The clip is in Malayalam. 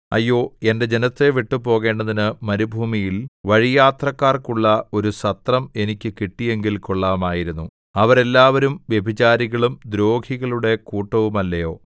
അയ്യോ എന്റെ ജനത്തെ വിട്ടു പോകേണ്ടതിന് മരുഭൂമിയിൽ വഴിയാത്രക്കാർക്കുള്ള ഒരു സത്രം എനിക്ക് കിട്ടിയെങ്കിൽ കൊള്ളാമായിരുന്നു അവരെല്ലാവരും വ്യഭിചാരികളും ദ്രോഹികളുടെ കൂട്ടവുമല്ലയോ